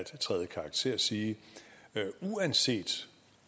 træde i karakter sige at uanset